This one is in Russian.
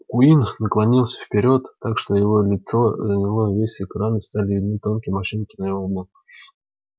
куинн наклонился вперёд так что его лицо заняло весь экран и стали видны тонкие морщины на его лбу